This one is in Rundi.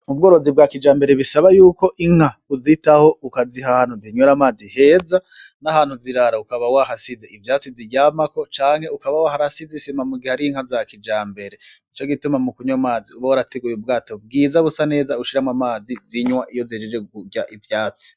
Ubworozi bwa kijambere bisaba yuko inka uzitaho ukaziha ahantu zinwera amazi heza n' ahantu zirara ukaba wahasize ivyatsi ziryamako canke ukaba warahasize isima mugihe ari inka za kijambere nico gituma mukunwa amazi uba warasizemwo ubwato bwiza busa neza ushiramwo amazi zinwa iyo zihejeje kurya ubwatsi.